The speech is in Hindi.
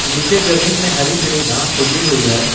नीचे जमीन में हरी हरी घास उगी हुई है।